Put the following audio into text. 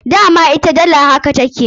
Dama ita dala haka take.